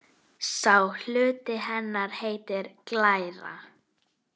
Sá hluti hennar heitir glæra.